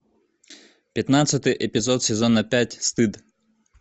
пятнадцатый эпизод сезона пять стыд